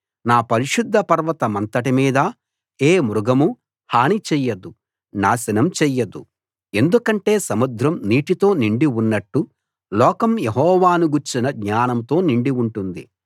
నా పరిశుద్ధ పర్వతమంతటి మీద ఏ మృగమూ హాని చెయ్యదు నాశనం చెయ్యదు ఎందుకంటే సముద్రం నీటితో నిండి ఉన్నట్టు లోకం యెహోవాను గూర్చిన జ్ఞానంతో నిండి ఉంటుంది